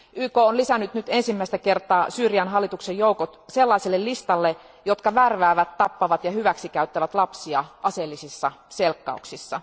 YK on lisännyt nyt ensimmäistä kertaa Syyrian hallituksen joukot sellaiselle listalle, jotka värväävät, tappavat ja hyväksikäyttävät lapsia aseellisissa selkkauksissa.